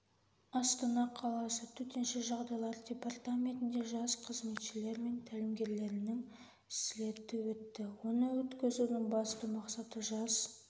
астана қаласы төтенше жағдайлар департаментінде жас қызметшілер мен тәлімгерлерінің слеті өтті оны өткізудің басты мақсаты жас